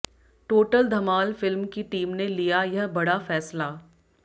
total Dhamaal film की team ने लिया यह बड़ा फैसला